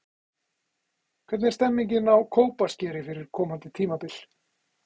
Hvernig er stemmingin á Kópaskeri fyrir komandi tímabil?